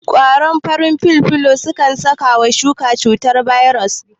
ƙwaron farin filfilo kan saka wa shuka cutar bairos